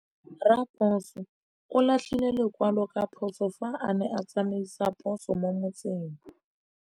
Raposo o latlhie lekwalô ka phosô fa a ne a tsamaisa poso mo motseng.